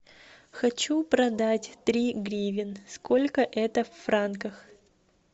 хочу продать три гривен сколько это в франках